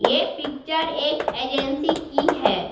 ये पिक्चर एक एजेंसी की है।